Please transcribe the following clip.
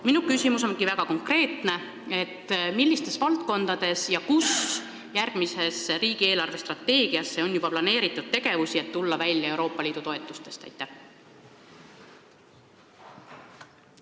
Minu küsimus on väga konkreetne: millistes valdkondades ja kus täpsemalt on järgmisesse riigi eelarvestrateegiasse planeeritud tegevusi, et oleks võimalik tulla välja probleemist, et Euroopa Liidu toetused vähenevad?